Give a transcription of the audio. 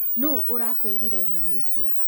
No ũrakwĩrĩre ngano icĩo?